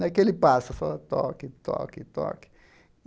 Naquele passo, só toque, toque, toque.